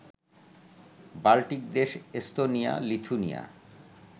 Baltic দেশ Estonia, Lithuania